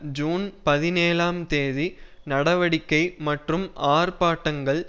June பதினேழாம் தேதி நடவடிக்கை மற்றும் ஆர்ப்பாட்டங்கள்